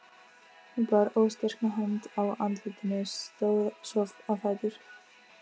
Hún bar óstyrka hönd að andlitinu, stóð svo á fætur.